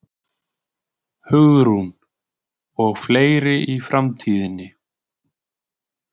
Hugrún: Og fleiri í framtíðinni?